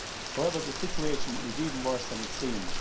However, the situation is even worse than it seems.